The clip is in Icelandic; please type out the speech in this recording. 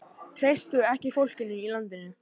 Treystu ekki fólkinu í landinu